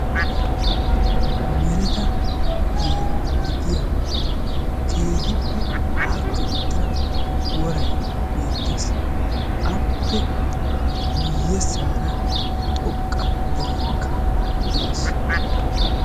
mereta heera gidiya keehipeaakida woray beettessi aappe yabagarakka xoqa dere beettesi.